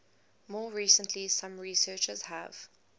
more recently some researchers have